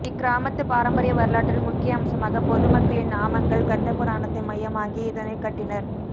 இக்கிராமத்து பாரம்பரிய வரலாற்றில் முக்கிய அம்சமாக பொது மக்களின் நாமங்கள் கந்தபுராணத்தை மையமாகி இதனை கட்டினர்